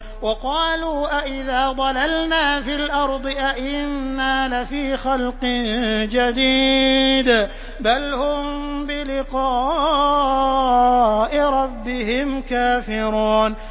وَقَالُوا أَإِذَا ضَلَلْنَا فِي الْأَرْضِ أَإِنَّا لَفِي خَلْقٍ جَدِيدٍ ۚ بَلْ هُم بِلِقَاءِ رَبِّهِمْ كَافِرُونَ